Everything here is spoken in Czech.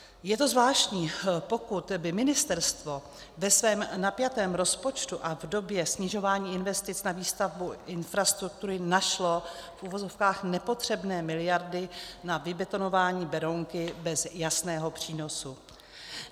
Je to zvláštní, pokud by ministerstvo ve svém napjatém rozpočtu a v době snižování investic na výstavbu infrastruktury našlo v uvozovkách nepotřebné miliardy na vybetonování Berounky bez jasného přínosu.